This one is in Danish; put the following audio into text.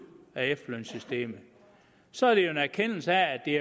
af efterlønssystemet så er det jo en erkendelse af at det